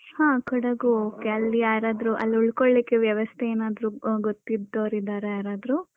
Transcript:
ಹ ಕೊಡಗು okay ಅಲ್ಲಿ ಯಾರಾದ್ರೂ ಅಲ್ ಉಳ್ಕೊಳ್ಲಿಕ್ಕೆ ವ್ಯವಸ್ಥೆ ಏನಾದ್ರು ಗೊತ್ತಿದ್ದೊರು ಇದ್ದಾರಾ ಯಾರಾದ್ರೂ?